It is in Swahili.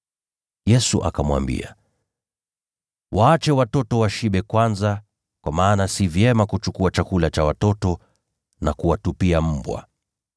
Yesu akamwambia, “Waache watoto washibe kwanza, kwa maana si vyema kuchukua chakula cha watoto na kuwatupia mbwa.”